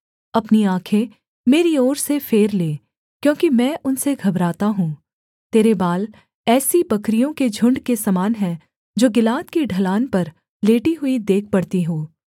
अपनी आँखें मेरी ओर से फेर ले क्योंकि मैं उनसे घबराता हूँ तेरे बाल ऐसी बकरियों के झुण्ड के समान हैं जो गिलाद की ढलान पर लेटी हुई देख पड़ती हों